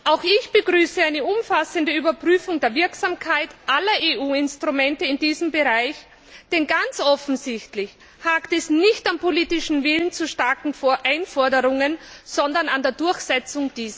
Auch ich begrüße eine umfassende Überprüfung der Wirksamkeit aller EU Instrumente in diesem Bereich, denn ganz offensichtlich hapert es nicht am politischen Willen zu starken Einforderungen, sondern an ihrer Durchsetzung.